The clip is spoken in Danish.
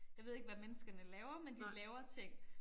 Jeg ved ikke hvad menneskene laver men de laver ting